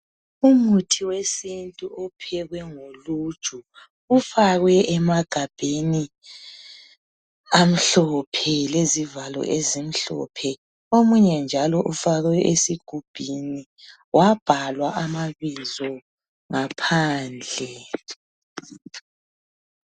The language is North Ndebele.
Umuthi wesintu ophekwe ngoluju ufakwe emagabheni amhlophe lezivalo ezimhlophe. Omunye njalo ufakwe esigubhini wabhalwa amabizo ngaphandle.